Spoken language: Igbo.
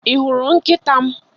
Ị hụrụ nkịta m?